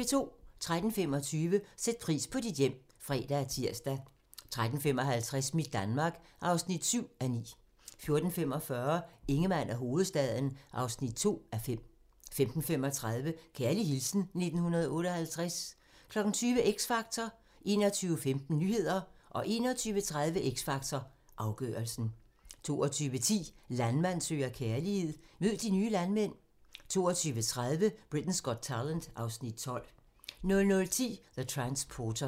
13:25: Sæt pris på dit hjem (fre og tir) 13:55: Mit Danmark (7:9) 14:45: Ingemann og hovedstaden (2:5) 15:35: Kærlig hilsen 1958 20:00: X Factor 21:15: Nyhederne 21:30: X Factor - afgørelsen 22:10: Landmand søger kærlighed - mød de nye landmænd 22:30: Britain's Got Talent (Afs. 12) 00:10: The Transporter